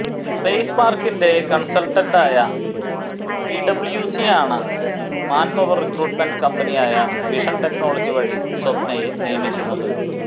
space പാർക്കിന്റെ കൺസൽട്ടന്റായ പിഡബ്യൂസിയാണ് മാൻപവർ റിക്രൂട്ട്മെന്റ് കമ്പനിയായ വിഷൻ കെട്നോളജി വഴി സ്വപ്നയെ നിയമിക്കുന്നത്